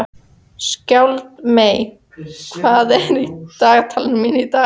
Skjaldmey, hvað er í dagatalinu mínu í dag?